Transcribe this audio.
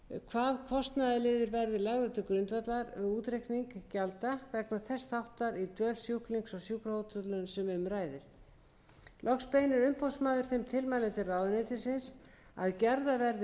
hvaða kostnaðarliðir verði lagðir til grundvallar við útreikning gjalda vegna þess þáttar í dvöl sjúklings á sjúkrahótelinu sem um ræðir loks beinir umboðsmaður þeim tilmælum til ráðuneytisins að gerðar verði viðeigandi ráðstafanir til að endurskoða lagagrundvöll þeirrar gjaldtöku